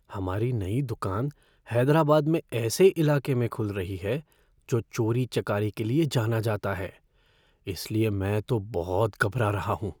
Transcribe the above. हमारी नई दुकान हैदराबाद में ऐसे इलाके में खुल रही है जो चोरी चकारी के लिए जाना जाता है। इस लिए मैं तो बहुत घबरा रहा हूँ।